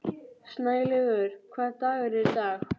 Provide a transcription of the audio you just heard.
Snælaugur, hvaða dagur er í dag?